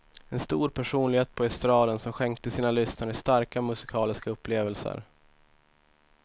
En stor personlighet på estraden som skänkte sina lyssnare starka musikaliska upplevelser.